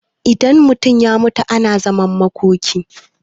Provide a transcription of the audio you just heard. idan mutum ya mutu ana zaman makoki